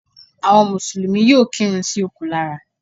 Àwọn mùsùlùmí yóò kírun sí òkú lára